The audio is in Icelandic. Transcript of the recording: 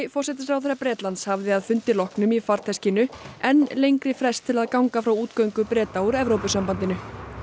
forsætisráðherra Bretlands hafði að fundi loknum í farteskinu enn lengri frest til að ganga frá útgöngu Breta úr Evrópusambandinu